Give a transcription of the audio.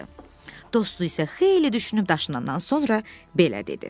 Dostu isə xeyli düşünüb daşınandan sonra belə dedi.